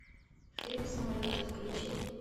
фильм самолеты включи